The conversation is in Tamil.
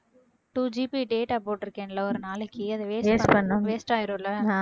twoGBdata போட்டிருக்கேன்ல ஒரு நாளைக்கு அதை waste பண்ணா waste ஆயிடும்ல